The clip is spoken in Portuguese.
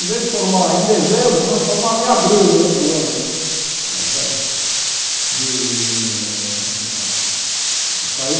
Em vez de formar em dezembro, nós formávamos em abril do outro ano. Está certo e a